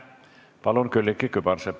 Palun, Külliki Kübarsepp!